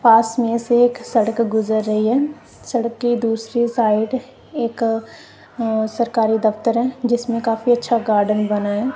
पास में से एक सड़क गुजर रही है सड़क की दूसरी साइड एक अ सरकारी दफ्तर है जिसमें काफी अच्छा गार्डन बना हैं।